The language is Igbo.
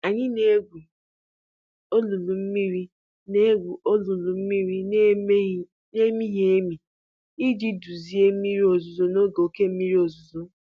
Anyị na-egwu olulu mmiri na-egwu olulu mmiri na-emighị emi iji duzie mmiri ozuzo n'oge oke mmiri ozuzo.